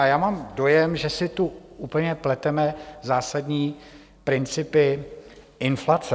A já mám dojem, že si tu úplně pleteme zásadní principy inflace.